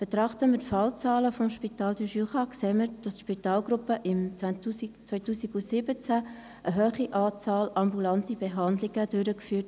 Betrachten wir die Fallzahlen des Spitals du Jura, wird ersichtlich, dass die Spitalgruppe im Jahr 2017 eine hohe Anzahl ambulanter Behandlungen durchführte.